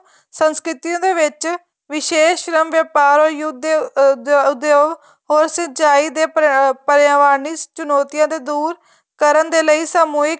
ਸੰਸਕ੍ਰਿਤੀਆਂ ਦੇ ਵਿੱਚ ਵਿਸ਼ੇਸ ਰਮ ਵੇਪਾਰ or ਯੁੱਧ ਦੇ ਉੱਦਯੋਗ or ਸਿੰਚਾਈ ਦੇ ਪਰਵਾਨੀ ਚੁਣੋਤੀਆਂ ਤੋ ਦੂਰ ਕਰਨ ਦੇ ਲਈ ਸਮੂਹਿਕ